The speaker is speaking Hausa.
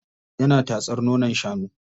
Yana tatsar nonon shanu.